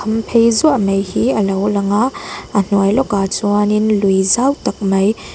khamphei zuaih mai hi a lo lang a a hnuai lawkah chuanin lui zau tak mai--